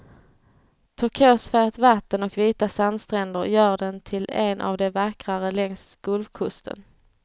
Turkosfärgat vatten och vita sandstränder gör den till en av de vackrare längs gulfkusten.